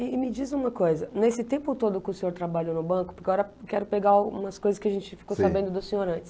E me diz uma coisa, nesse tempo todo que o senhor trabalhou no banco, porque agora quero pegar algumas coisas que a gente ficou sabendo do senhor antes.